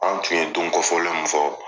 An tun ye don kɔfɔlen min fɔ